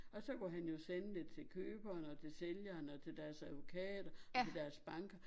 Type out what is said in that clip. Og så kunne han jo sende det til køberen og til sælgeren og til deres advokat og til deres bank